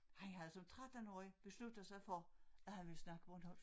Han havde som 13-årig besluttet sig for at han ville snakke bornholmsk